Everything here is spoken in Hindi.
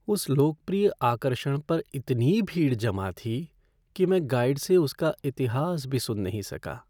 उस लोकप्रिय आकर्षण पर इतनी भीड़ जमा थी कि मैं गाइड से उसका इतिहास भी सुन नहीं सका।